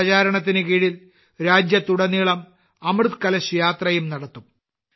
ഈ പ്രചാരണത്തിന് കീഴിൽ രാജ്യത്തുടനീളം അമൃത് കലശ് യാത്രയും നടത്തും